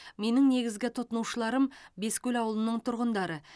менің негізгі тұтынушыларым бескөл ауылының тұрғындары